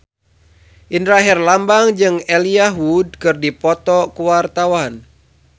Indra Herlambang jeung Elijah Wood keur dipoto ku wartawan